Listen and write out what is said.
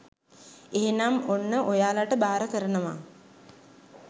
එහෙනම් ඔන්න ඔයාලට බාර කරනවා